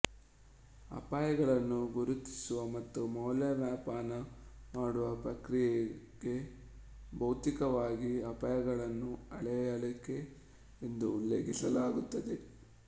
ಅಪಾಯಗಳನ್ನು ಗುರುತಿಸುವ ಮತ್ತು ಮೌಲ್ಯಮಾಪನ ಮಾಡುವ ಪ್ರಕ್ರಿಯೆಗೆ ಭೌತಿಕವಾಗಿ ಅಪಾಯವನ್ನು ಅಳೆಯುವಿಕೆ ಎಂದು ಉಲ್ಲೇಖಿಸಲಾಗುತ್ತದೆ